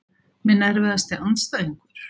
Minn erfiðasti andstæðingur?